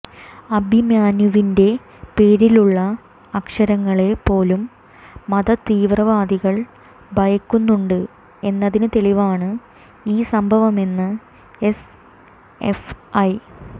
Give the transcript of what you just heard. അഭിമന്യുവിന്റെ പേരിലുള്ള അക്ഷരങ്ങളെ പോലും മതതീവ്രവാദികൾ ഭയക്കുന്നുണ്ട് എന്നതിന് തെളിവാണ് ഈ സംഭവമെന്ന് എസ്എഫ്ഐ